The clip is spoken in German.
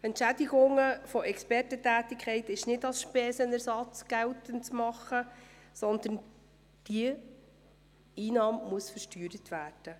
Die Entschädigungen von Expertentätigkeiten sind nicht als Spesenersatz geltend zu machen, sondern diese Einnahme muss versteuert werden.